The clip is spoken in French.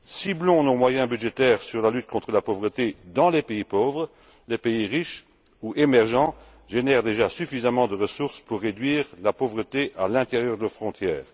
Ciblons nos moyens budgétaires sur la lutte contre la pauvreté dans les pays pauvres. Les pays riches ou émergents génèrent déjà suffisamment de ressources pour réduire la pauvreté à l'intérieur de leurs frontières.